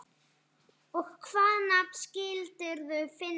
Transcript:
Og hvaða nafn skildirðu finna þá?